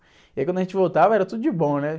E aí quando a gente voltava era tudo de bom, né?